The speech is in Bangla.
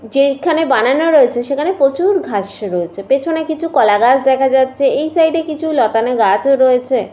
যেখানে বানানো রয়েছে সেখানে প্রচুর ঘাস রয়েছে পেছনে কিছু কলাগাছ দেখা যাচ্ছে। এই সাইড -এ কিছু লতানো গাছ ও রয়েছে ।